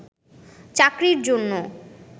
চাকরির জন্য